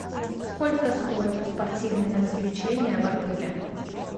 сколько стоят спортивные развлечения в отеле